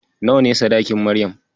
Nawa ne sadakin Maryam.